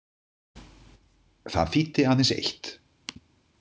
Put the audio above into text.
Það þýddi aðeins eitt.